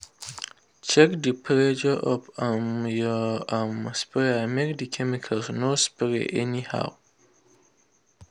check the pressure of um your um sprayer make the chemical no spray anyhow.